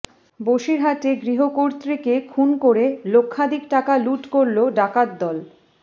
বসিরহাটে গৃহকর্ত্রীকে খুন করে লক্ষাধিক টাকা লুঠ করল ডাকাতদল